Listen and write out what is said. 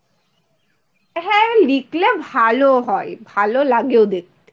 হ্যাঁ, লিখলে ভালো হয়, ভালো লাগেও দেখতে।